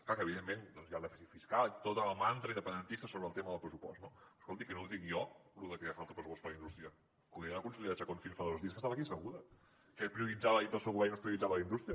clar que evidentment doncs hi ha el dèficit fiscal tot el mantra independentista sobre el tema del pressupost no escolti que no ho dic jo lo de que fa falta pressupost per a la indústria que ho deia la consellera chacón fins fa dos dies que estava aquí asseguda què es prioritzava dintre del seu govern i no es prioritzava la indústria